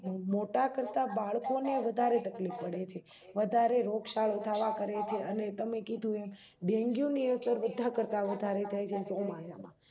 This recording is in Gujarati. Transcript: મોટા કરતા બાળકો ને વધારે તકલીફ પડે છે વધારે રોગ સાળો થવા કરે છે અને તમે કીધું એમ ડેન્ગ્યું ની અસર બધા કરતા વધારે થાય છે ચોમાસામાં